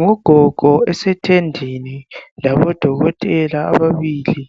Ngogogo esethendeni labodokotela ababili,